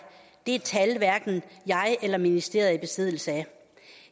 det tal er hverken jeg eller ministeriet i besiddelse af